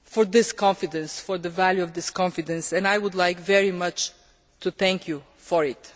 this confidence and the value of this confidence, and I would very much like to thank you for it.